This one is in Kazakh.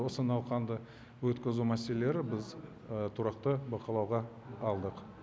осы науқанды өткізу мәселелері біз тұрақты бақылауға алдық